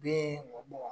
Den wo